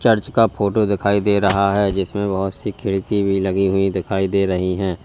Church का photo दिखाई दे रहा है जिसमें बोहोत सी खिड़की भी लगी हुई दिखाई दे रही हैं।